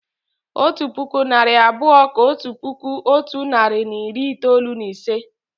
Otu puku, narị abụọ kà otu puku otu nari na iri itoolu na ise